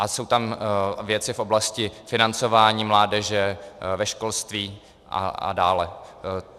A jsou tam věci v oblasti financování mládeže, ve školství a dále.